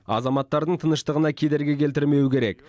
азаматтардың тыныштығына кедергі келтірмеуі керек